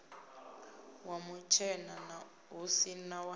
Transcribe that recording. wa mutshena hu si wa